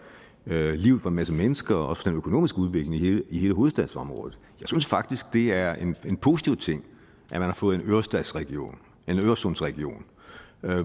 livet for en masse mennesker også for den økonomiske udvikling i hele hovedstadsområdet jeg synes faktisk det er en positiv ting at man har fået en øresundsregion øresundsregion